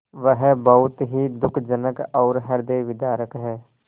वह बहुत ही दुःखजनक और हृदयविदारक है